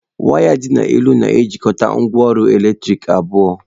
Waya dị n'elu na-ejikọta ngwaọrụ eletrik abụọ.